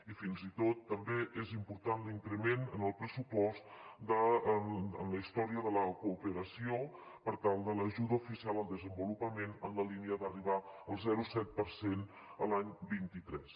i fins i tot també és important l’increment en el pressupost per a la història de la cooperació per l’ajuda oficial al desenvolupament en la línia d’arribar al zero coma set per cent l’any vint tres